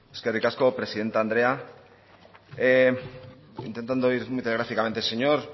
eskerrik asko presidente andrea intentando ir muy telegráficamente señor